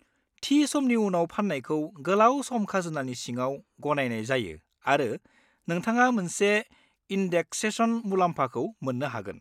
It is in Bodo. थि समनि उनाव फाननायखौ गोलाव-सम खाजोनानि सिङाव गनायनाय जायो आरो नोंथाङा मोनसे इन्देक्सेसन मुलाम्फाखौ मोननो हागोन।